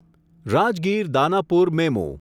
Rajgir Danapur MEMU